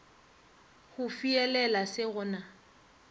go fihelela se go na